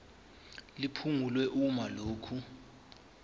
liphungulwe uma lokhu